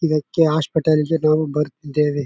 ಇದಕ್ಕೆ ಹಾಸ್ಪಿಟಲ್ ನಾವು ಬರುತ್ತಿದ್ದೇವೆ.